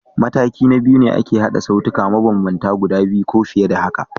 Mataki na biyu shi ne ake haɗa sautuka mabambanta guda biyu ko fiye da haka.